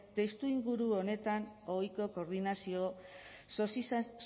testuinguru honetan ohiko koordinazio